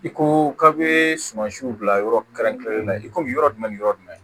I ko k'a bɛ sumansiw bila yɔrɔ kɛrɛnkɛrɛnnenya la i komi yɔrɔ jumɛn ni yɔrɔ jumɛn